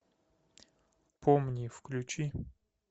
помни включи